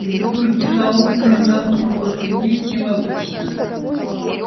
из-за пурги за окнами в замке было темнее чем обычно